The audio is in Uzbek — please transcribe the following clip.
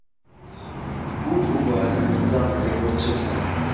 U bu borada mutlaq rekordchi hisoblanadi.